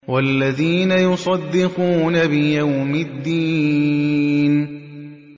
وَالَّذِينَ يُصَدِّقُونَ بِيَوْمِ الدِّينِ